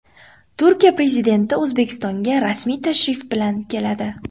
Turkiya prezidenti O‘zbekistonga rasmiy tashrif bilan keladi.